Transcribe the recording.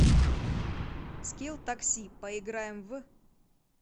скилл такси поиграем в